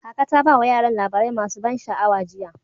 Kaka ta ba wa yaran labarai masu ban sha'awa jiya.